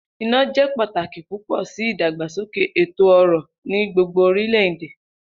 Ina jẹ pataki pupọ si idagbasoke eto-ọrọ ni gbogbo orilẹ-ede.